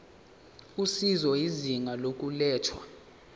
usizo izinga lokulethwa